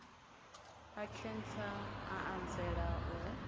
a khentsa a anzela u